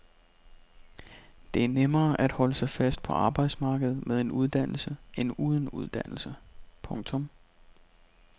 Det er nemmere at holde sig fast på arbejdsmarkedet med en uddannelse end uden uddannelse. punktum